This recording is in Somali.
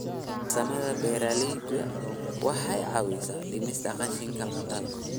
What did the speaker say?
Farsamada beeralayda waxay caawisaa dhimista qashinka cuntada.